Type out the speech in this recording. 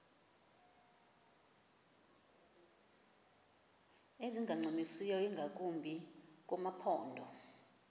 ezingancumisiyo ingakumbi kumaphondo